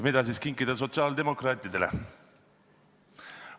Mida siis kinkida sotsiaaldemokraatidele?